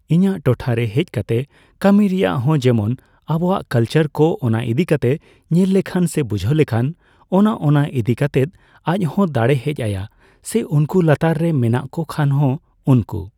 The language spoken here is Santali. ᱤᱧᱟᱹᱜ ᱴᱚᱴᱷᱟ ᱨᱮ ᱦᱮᱡ ᱠᱟᱛᱮ ᱠᱟᱹᱢᱤ ᱨᱮᱭᱟᱜ ᱦᱚᱸ, ᱡᱮᱢᱚᱱ ᱟᱵᱚᱣᱟᱜ ᱠᱟᱞᱪᱟᱨ ᱠᱚ ᱚᱱᱟ ᱤᱫᱤᱠᱟᱛᱮᱜ ᱧᱮᱞ ᱞᱮᱠᱷᱟᱱ ᱥᱮᱭ ᱵᱩᱡᱷᱟᱹᱣ ᱞᱮᱠᱷᱟᱱ, ᱚᱱᱟ ᱚᱱᱟ ᱤᱫᱤᱠᱟᱛᱮᱫ ᱟᱡ ᱦᱚᱸ ᱫᱟᱲᱮ ᱦᱮᱡ ᱟᱭᱟ᱾ ᱥᱮ ᱩᱱᱠᱩ ᱞᱟᱛᱟᱨ ᱨᱮ ᱢᱮᱱᱟᱜ ᱠᱚ ᱠᱷᱟᱱ, ᱦᱚᱸ, ᱩᱱᱠᱩ